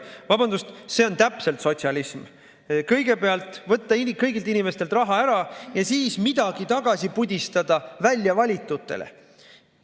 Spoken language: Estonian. Vabandust, aga see on täpselt sotsialism: kõigepealt võtta kõigilt inimestelt raha ära ja siis midagi tagasi pudistada väljavalitutele.